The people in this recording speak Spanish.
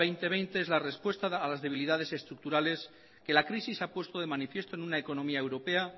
dos mil veinte es la respuesta a las debilidades estructurales que la crisis ha puesto de manifiesto en una economía europea